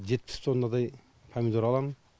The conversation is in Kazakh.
жетпіс тоннадай помидор аламын